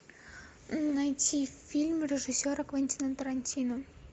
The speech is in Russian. найти фильм режиссера квентина тарантино